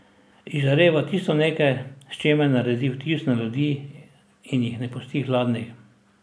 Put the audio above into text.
Izžareva tisto nekaj, s čimer naredi vtis na ljudi in jih ne pusti hladnih.